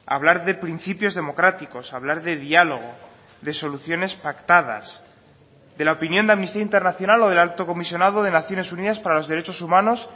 hablar de principios democráticos hablar de diálogo de soluciones pactadas de la opinión de amnistía internacional o del alto comisionado de naciones unidas para los derechos humanos